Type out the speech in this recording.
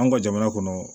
An ka jamana kɔnɔ